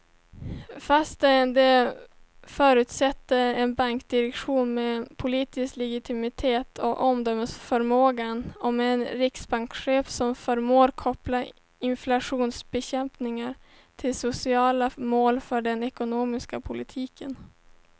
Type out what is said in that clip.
Fast det förutsätter en bankdirektion med politisk legitimitet och omdömesförmåga och en riksbankschef som förmår koppla inflationsbekämpning till sociala mål för den ekonomiska politiken.